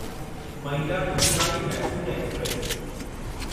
Mayiladuthurai Mysore express